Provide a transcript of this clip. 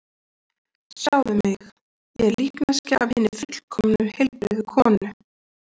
Sjáðu mig, ég er líkneskja af hinni fullkomnu, heilbrigðu konu.